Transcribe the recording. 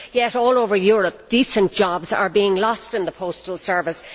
Yet all over Europe decent jobs are being lost in the postal service.